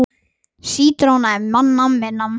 Þeirri vinnu er ólokið.